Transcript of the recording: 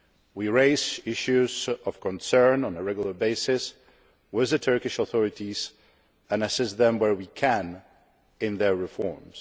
We raise issues of concern on a regular basis with the Turkish authorities and assist them where we can in their reforms.